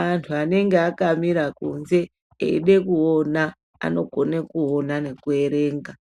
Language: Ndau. antu anenge akamira kunze eide kuona anogone kuona nekuerenga